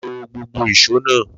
Lo gbogbo ìṣó náà!